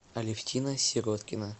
алевтина сироткина